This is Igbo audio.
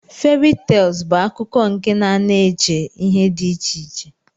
Fary tels bu akkụkọ nke na ana eche ihe di iche iche.